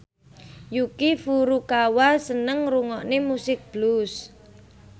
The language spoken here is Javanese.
Yuki Furukawa seneng ngrungokne musik blues